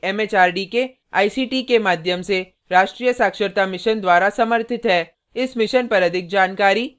यह भारत सरकार के एमएचआरडी के आईसीटी के माध्यम से राष्ट्रीय साक्षरता mission द्वारा समर्थित है